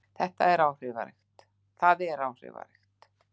Það er áhrifaríkt.